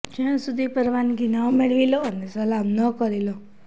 જ્યાં સુધી પરવાનગી ન મેળવી લો અને સલામ ન કરી લો